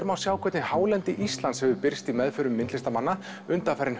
má sjá hvernig hálendi Íslands hefur birst í meðförum listamanna